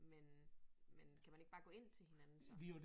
Men men kan man ikke bare gå ind til hinanden så